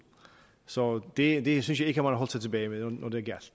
så det det synes jeg ikke man har holdt sig tilbage med når det gjaldt